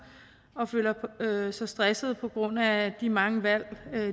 og føler sig stressede på grund af de mange valg